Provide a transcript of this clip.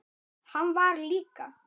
Hann var líka.